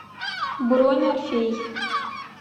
бронь орфей